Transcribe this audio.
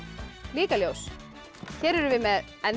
líka ljós hér erum við með